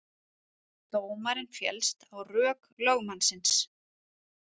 Dómarinn féllst á rök lögmannsins